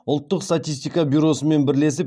ұлттық статистика бюросымен бірлесіп